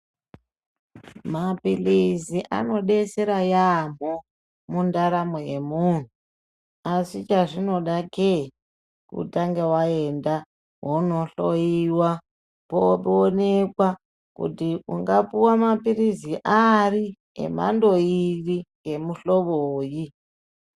Maphilizi anodetsera yamho mundaramo yemunhu asi chazvinodake kutanga waenda wonohloiwa popoonekwa kutiungapuwa maphilizi ari, emhando iri , emuhlobonyi.